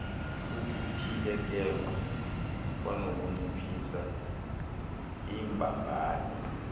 ukutyhilekelwa kwanokunciphisa iimbambano